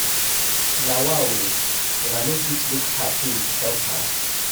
Na wa o, una no fit look her pain help her?